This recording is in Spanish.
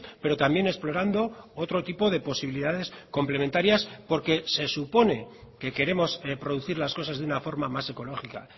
pero también explorando otro tipo de posibilidades complementarias porque se supone que queremos producir las cosas de una forma más ecológica